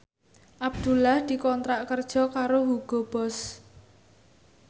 Abdullah dikontrak kerja karo Hugo Boss